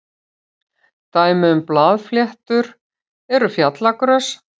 Dæmi um blaðfléttur eru fjallagrös.